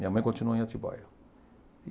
Minha mãe continua em Atibaia